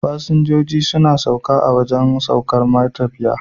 fasinjijo suna sauka a wajan saukar matafiya